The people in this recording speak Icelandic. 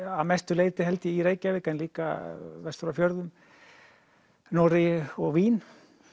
að mestu leyti held ég í Reykjavík en líka vestur á fjörðum Noregi og Vín